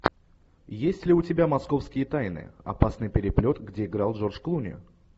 есть ли у тебя московские тайны опасный переплет где играл джордж клуни